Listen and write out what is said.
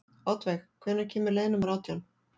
Oddveig, hvenær kemur leið númer átján?